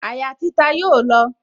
Àyà títa yóò lọ